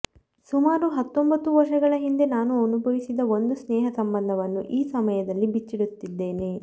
ಸುಮಾರು ಹತ್ತೊಂಬತ್ತು ವರ್ಷಗಳ ಹಿಂದೆ ನಾನು ಅನುಭವಿಸಿದ ಒಂದು ಸ್ನೇಹ ಸಂಬಂಧವನ್ನು ಈ ಸಮಯದಲ್ಲಿ ಬಿಚ್ಚಿಡುತ್ತಿದ್ದೇನೆ